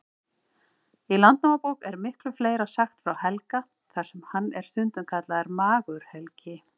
Í Landnámabók er miklu fleira sagt frá Helga, þar sem hann er stundum kallaður Magur-Helgi.